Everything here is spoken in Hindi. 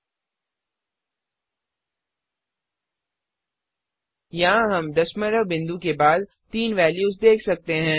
यहाँ हम दशमलव बिंदुडेसिमल पॉइंट के बाद तीन वेल्यूज देख सकते हैं